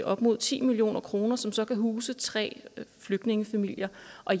op mod ti million kr som så kan huse tre flygtningefamilier